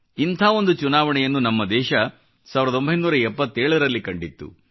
ಇಂಥ ಒಂದು ಚುನಾವಣೆಯನ್ನು ನಮ್ಮ ದೇಶ 77 ರಲ್ಲಿ ಕಂಡಿತ್ತು